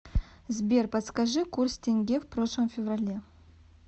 сбер подскажи курс тенге в прошлом феврале